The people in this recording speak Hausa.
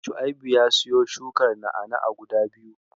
Shua'ibu ya siyo shukar na'a-na'a guda biyu.